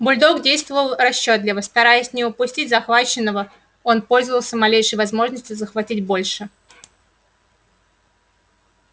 бульдог действовал расчётливо стараясь не упустить захваченного он пользовался малейшей возможностью захватить больше